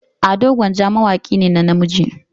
Ado gwanja mawaki ne na namiji.